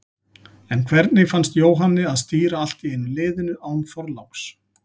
En hvernig fannst Jóhanni að stýra allt í einu liðinu, án Þorláks?